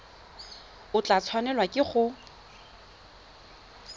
o tla tshwanelwa ke go